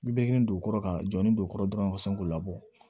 Bi bɛ nin dugu kɔrɔ ka jɔ ni don o kɔrɔ dɔrɔn ka sɔn k'o labɔ